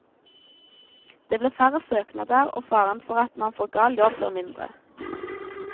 Det blir færre søknader, og faren for at man får gal jobb, blir mindre.